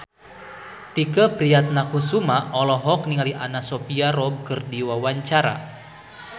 Tike Priatnakusuma olohok ningali Anna Sophia Robb keur diwawancara